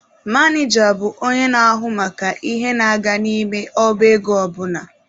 Maneja bụ onye na-ahụ maka ihe na-aga n'ime ọba ego ọ bụla.